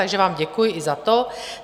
Takže vám děkuji i za to.